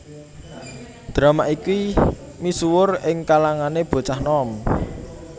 Drama iki misuwur ing kalangané bocah nom